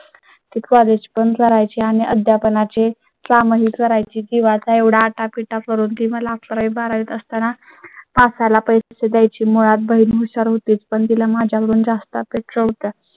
ते. college पण करायची आणि अध्यापना चे काम ही करायची किंवा चा एवढा आटापिटा करून ही मला अकरा वी बारावीत असताना असा ला पैसे द्यायची मुळात बहिण हुशार होतीच पण दिला माझ्याकडून जास्त अपेक्षा होत्या